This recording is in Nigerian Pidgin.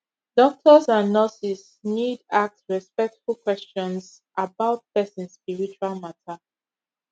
doctors and nurses need ask respectful questions about person spiritual matter